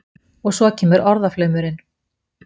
Og svo kemur orðaflaumurinn.